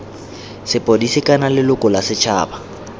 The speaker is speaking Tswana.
sepodisi kana leloko la setšhaba